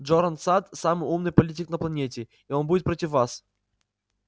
джоран сатт самый умный политик на планете и он будет против вас